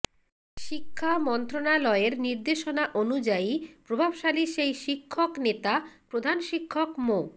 শিক্ষা মন্ত্রণালয়ের নির্দেশনা অনুযায়ী প্রভাবশালী সেই শিক্ষক নেতা প্রধান শিক্ষক মো